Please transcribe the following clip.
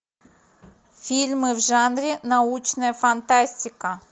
фильмы в жанре научная фантастика